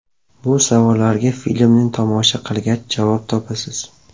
Bu savollarga filmni tomosha qilgach, javob topasiz.